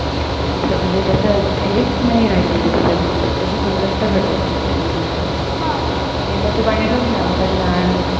खरं म्हणजे तस हेच नाही राहिलेलं त्याची गुणवत्ता घटत चाल्लेलीये तेव्हाच पाणी बघ ना आपण लहान होतो